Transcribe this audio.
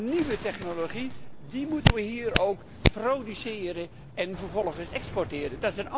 De nieuwe technologie, die moeten we hier ook produceren en vervolgens exporteren.